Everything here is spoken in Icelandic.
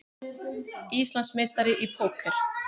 Íslandsmeistari í póker